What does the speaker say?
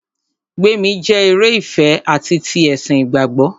Gbémi jẹ́ eré ìfẹ ati ti ẹ̀sìn ìgbàgbọ́.